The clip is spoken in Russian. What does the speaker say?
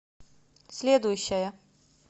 следующая